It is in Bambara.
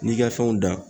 N'i ka fɛnw dan